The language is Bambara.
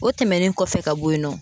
O tɛmɛnen kɔfɛ ka bɔ yen nɔ